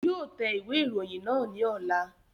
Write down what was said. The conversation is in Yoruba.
Yóò tẹ ìwé ìròyìn náà ní ọ̀la